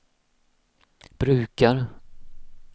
brukar